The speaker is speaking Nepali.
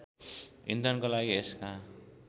इन्धनका लागि यसका